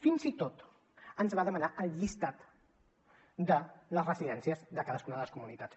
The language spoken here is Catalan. fins i tot ens va demanar la llista de les residències de cadascuna de les comunitats